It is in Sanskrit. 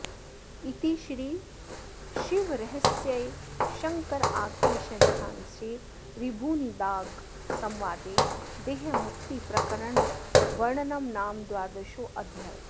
इति श्रीशिवरहस्ये शङ्कराख्ये षष्ठांशे ऋभुनिदाघसंवादे देहमुक्तिप्रकरणवर्णनं नाम द्वादशोऽध्यायः